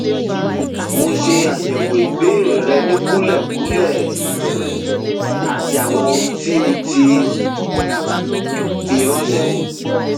mo ṣe àyẹwò ìbéèrè rẹ ní kúlẹkúlẹ um àti gbogbo ohun tí o ti fi ránṣé